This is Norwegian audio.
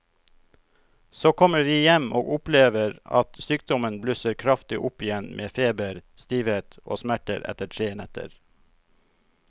Så kommer vi hjem og opplever at sykdommen blusser kraftig opp igjen med feber, stivhet og smerter etter tre netter.